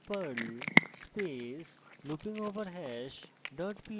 perl space loopingoverhash dot pl